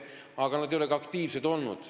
Aga nad ei ole ka aktiivsed olnud.